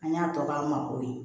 An y'a tɔ k'an ma ko ye